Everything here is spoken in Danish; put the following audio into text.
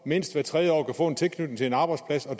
mindst hvert tredje år kunne få tilknytning til en arbejdsplads og